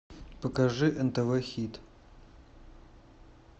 покажи нтв хит